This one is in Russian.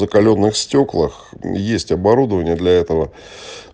закалённых стёклах есть оборудование для этого